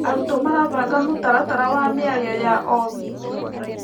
Arutwo marabanga mũtaratara wa mĩario ya o wiki.